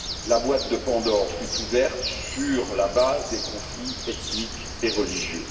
La boîte de Pandore fut ouverte sur la base des conflits ethniques et religieux.